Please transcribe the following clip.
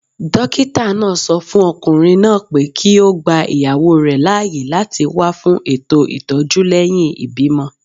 Dókítà náà sọ fún okùnrin náà pé kí ó gba ìyàwó rẹ̀ láàyè láti wá fún ètò ìtọ́jú lẹ́yìn ìbímọ